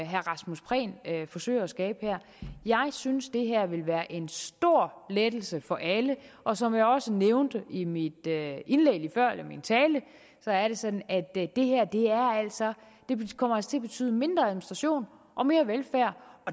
herre rasmus prehn her forsøger at skabe jeg synes det her vil være en stor lettelse for alle og som jeg også før nævnte i min tale er det sådan at det her altså kommer til at betyde mindre administration og mere velfærd